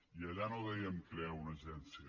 i allà no dèiem crear una agència